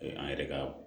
An yɛrɛ ka